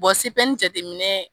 Bɔn CPN jateminɛ.